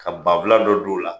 Ka banfula dɔ don u la.